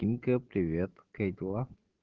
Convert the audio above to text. тимка привет как дела